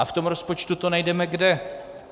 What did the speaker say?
A v tom rozpočtu to najdeme kde?